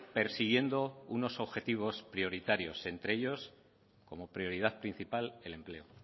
persiguiendo unos objetivos prioritarios entre ellos como prioridad principal el empleo